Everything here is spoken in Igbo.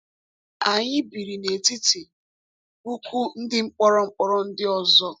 Anyị biri n’etiti puku ndị mkpọrọ mkpọrọ ndị ọzọ.